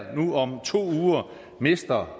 om to uger mister